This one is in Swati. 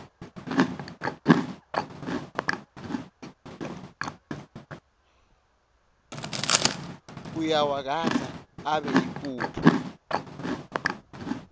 uyawagandza abe yimphuphu